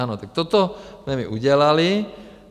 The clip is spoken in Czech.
Ano, tak toto jsme my udělali.